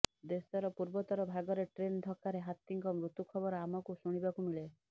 ଦେଶର ପୂର୍ବୋତ୍ତର ଭାଗରେ ଟ୍ରେନ୍ ଧକ୍କାରେ ହାତୀଙ୍କ ମୃତ୍ୟୁ ଖବର ଆମକୁ ଶୁଣିବାକୁ ମିଳେ